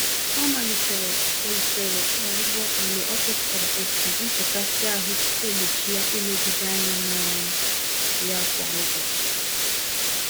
Ọ malitere usoro ọgwụgwọ mgbe ọ chọpụtara otu nchekasị-ahụ si egbochi ya ilegide ányá n'ọrụ ya kwa ụbọchị.